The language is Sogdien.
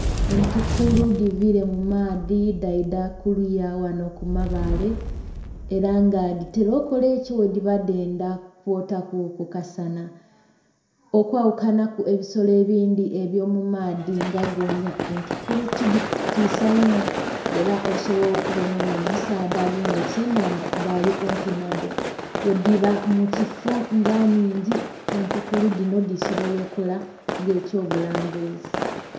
Entukulu dhivire mu maadhi dhaidha kuliya ghanho ku mabaale era nga dhitera okukola ekyo bwe dhiba nga dhendha kwotaku kasaana. Okwaghukanaku ebisolo ebindhi ebyo mu maadhi nga goonya, entukulu ti dhitiisa inho era osobola okubonha onho omusaadha agemye ekye nhandha nga ali kumpi nha dho. Ghe dhiba mu kifoo nga nnhingi, entukulu dhino dhisobola okukola nga ekyo bulambuzi.